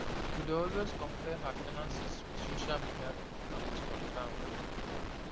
to dey always compare her finances with social media people na waste of time wey no dey help